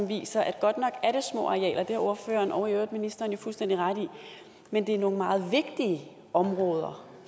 viser at godt nok er det små arealer det har ordføreren og i øvrigt ministeren jo fuldstændig ret i men det er nogle meget vigtige områder